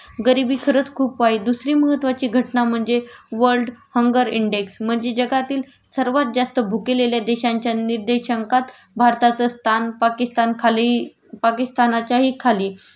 गरिबी खरंच खूप वाईट.दुसरी महत्वाची घटना म्हणजे वर्ल्ड हंगर इंडेक्स.म्हणजे जगातील सर्वात जास्त भुकेलेल्या देशांच्या निर्देशांकात भारताचं स्थान पाकिस्तानखाली पाकिस्थानाच्याही खाली